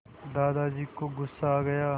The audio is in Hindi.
दादाजी को गुस्सा आ गया